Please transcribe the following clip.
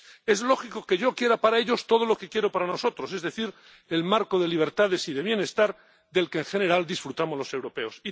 Es lógico que yo quiera para ellos todo lo que quiero para nosotros, es decir, el marco de libertades y de bienestar del que, en general, disfrutamos los europeos.